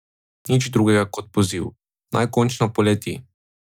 Nič drugega kot poziv, naj končno poleti.